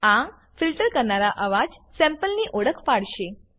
આ ફિલ્ટર કરવાનાં અવાજ સેમ્પલની ઓળખ પાડશે